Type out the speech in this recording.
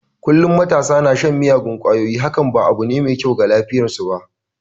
Kullum matasa na shan miyagun kwayoyi hakan ba abu ne mai kyau ga lafiyar su ba.